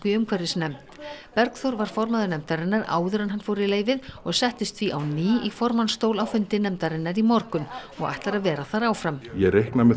umhverfisnefnd Bergþór var formaður nefndarinnar áður en hann fór í leyfið og settist því á ný í formannsstól á fundi nefndarinnar í morgun og ætlar að vera þar áfram ég reikna með